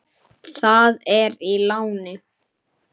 Það er í láni.